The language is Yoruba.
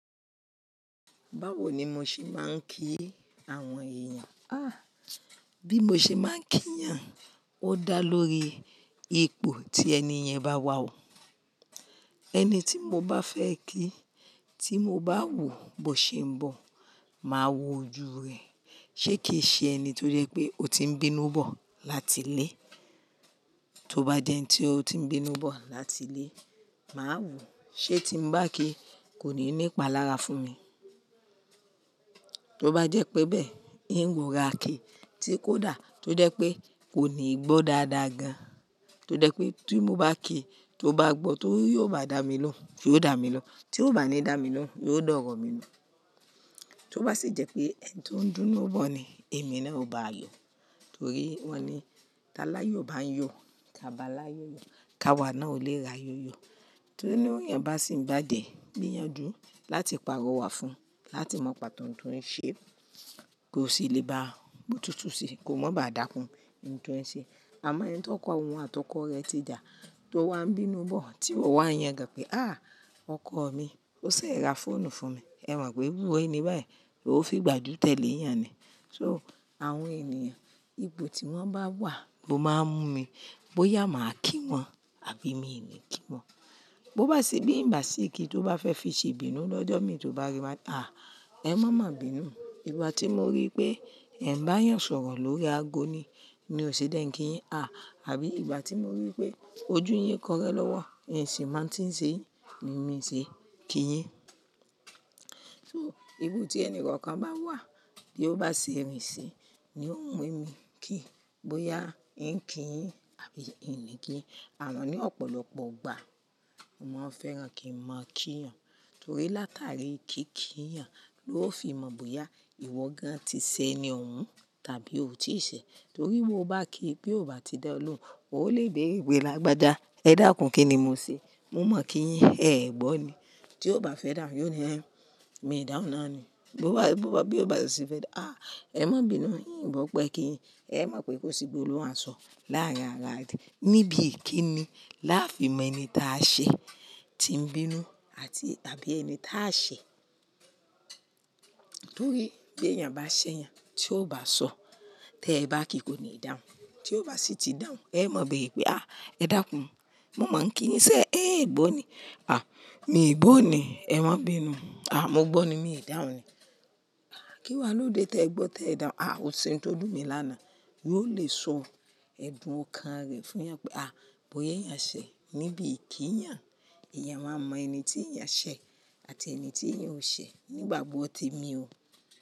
Báwo ni mo ṣe máa ń kí àwọn èèyàn? Ah! Bí mo ṣe máa ń kí yàn, ó dá lórí ipò tí ẹni yẹn bá wà o. Ẹni tí mo bá fẹ́ kí tí mo bá wò bó ṣe ń bọ̀, màá wo ojú rẹ̀. Sé kì i ṣe ẹni tó jẹ́ pé ó ti ń bínú bọ̀ láti ilé? Tó bá jẹ́ ẹni tí ó ti ń bínú bọ̀ láti ilé, màá wò. Sé tí mo bá kí i kò ní ní ìpàlára fún mi. Tó bá jẹ́ pé bẹ́ẹ̀, n ló rora ki tí kò dà, tó jẹ́ pé kò ní gbọ́ dáadáa gan, tó jẹ́ pé tí mo bá kí i, tó bá gbọ́ ti yóò bá dà mí lọ́ ń yoo dà mí lọ n Tí ó bá ní dà mí lọ, yóò dọ̀rọ̀ mí lọ. Tó bá sì jẹ́ pé ẹni tó ń dúnú bọ̀ ni, èmi náà ó bá yọ̀. Torí wọ́n ní: "Taláyọ̀ bá ń yọ̀, kaba láyòyò, kawà náà ò lè ra yòyò." Tinu yàn bá sì ń bá jẹ̀, gbiyàn jù láti pàrọ̀ wà fún un, láti mọ pàtó n tó ń ṣe, kó sì lè bá a mọ̀ọ́ jutù sí i, kó má ba à dákun n tó ń ṣe. Àmọ́ ẹni tí ọkọ òun àti ọkọ rẹ̀ ti jà, tó wá ń bínú bọ̀, tí ó wá yan gan pé: "Àh! Ọkọ mi, ó ṣẹ̀ rà fóònù fún mi. Ẹ mọ̀ pé wúro ni báyìí, yoo fi gbajú tẹ́lẹ̀ yàn ni. So àwọn ènìyàn, ipò tí wọ́n bá wà ló máa ń mú mi bóyá màá kí wọn àbí mi ní kí wọn. Bo bá sì bí n bá sì kí tó bá fẹ́ fi ṣe ibínú lọ́jọ́ mi tí ó bá rí i máà á, ẹ mọ̀ má bínu. Ìgbà tí mo rí pé ẹ̀ ń bá èèyàn sọ̀rọ̀ lórí ago ni, ni ò ṣe jé ń kí yin. Ah abí ìgbà tí mo rí pé ojú yín kọrẹ́ lọ́wọ́, n sì máa ń tí ń ṣe yin, ni mí ṣe kí yin. So iru i tí ẹni kankan bá wà tí ó bá ṣe irin ṣi, ni ó ń mú mi kí, bóyá ń kí yin àbí ì ní kí i. Àmo ní ọ̀pọ̀lọpọ̀ ìgbà, mo máa ń fẹ́ràn kí n mọ kí èèyàn. Torí látàrí kí kí yàn ló fi mọ bóyá ìwọ gan ti ṣe ẹni òun tàbí o tiì ṣe. Torí bó bá kí i bí ó bá ti dá ọ lóhùn, o lè bé re pe lágbajà. Ẹ dákun, kí ni mo ṣe? Mo mọ̀ kí yin, ẹe gbọ́ ni. Tí ó bá fẹ́ dàhun, yóò ní, hen mi i dáhun náà ni." Bo bá, bo bá, bí ó bá sì fẹ́ dàhun, "Àh! Ẹ mọ̀ bínu, n ò gbọ́ pé kí yin. Ẹ mọ̀ pé kò sí gbolohun a sọ láàárín ara ti-- níbi ìkíni láfi mẹ́ni táa ṣẹ́, tí ń bínú àti tàbí ẹni táa ṣẹ̀. Torí bí èèyàn bá ṣẹ̀ yan, tí ó bá sọ, tẹ bá kí i kò ní dàhun Tí ó bá sì ti dàhun, ẹ mọ̀ bere pé, "Àh! Ẹ dákun, mo máa ń kí yin sé ẹ gbọ́ ni". "Àh! Mi i gbọ́ ni, ẹ mọ̀ bínu." "Àh! Mo gbọ́ ni, mi i dàhun ni." Kí wá lóde te gbọ́ tẹ dàhun, "Àh! Oṣe n tó dùn mi lánàá." Yóò lè sọ ẹ̀dùn ọkàn rẹ̀ fún yan pé, "Àh! Bóyá eyán ṣẹ̀ níbi ìkí i yan." iyan a mọ ẹni tí ìyán ṣẹ̀ àti ẹni tí ìyán ò ṣẹ̀ nígbàgbọ́ ti mi ò.